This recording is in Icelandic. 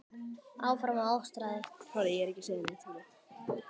Svefnherbergin voru öll uppi á lofti.